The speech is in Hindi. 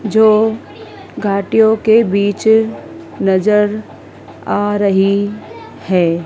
जो घाटियों के बीच नज़र आ रही है।